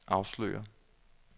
afslører